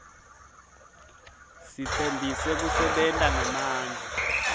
sitsembise kusebenta ngemandla